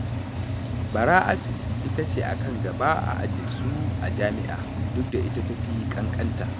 Bara'atu ita ce a kan gaba a ajinsu a jami'a, duk da ita ta fi ƙanƙanta.